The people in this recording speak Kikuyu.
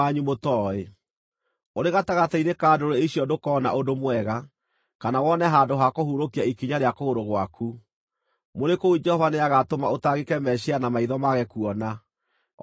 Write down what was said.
Ũrĩ gatagatĩ-inĩ ka ndũrĩrĩ icio ndũkoona ũndũ mwega, kana wone handũ ha kũhurũkia ikinya rĩa kũgũrũ gwaku. Mũrĩ kũu Jehova nĩagatũma ũtangĩke meciiria na maitho mage kuona, o na ũũrwo nĩ hinya.